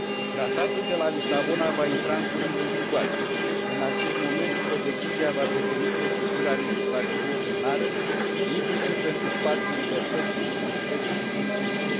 Tratatul de la Lisabona va intra în curând în vigoare și din acest moment codecizia va deveni procedura legislativă ordinară, inclusiv pentru spațiul libertății, securității și justiției.